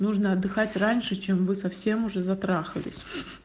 нужно отдыхать раньше чем вы совсем уже затрахались